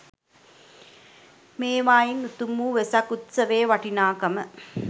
මේවායින් උතුම් වූ වෙසක් උත්සවයේ වටිනාකම